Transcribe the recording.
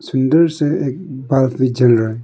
अंदर से एक बल्ब भी जल रहा है।